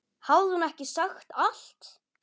Hafði hún ekki sagt allt?